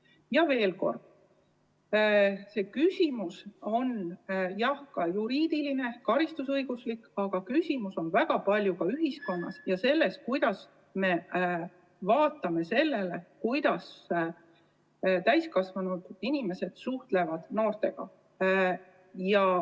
Ütlen veel kord, et jah, see küsimus on juriidiline, karistusõiguslik, aga samas on küsimus väga paljuski ka ühiskonnas ja selles, kuidas me vaatame sellele, kuidas täiskasvanud inimesed noortega suhtlevad.